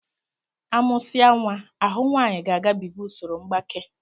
A mụsia nwa, ahụ nwaanyi ga-agabiga usoro mgbaké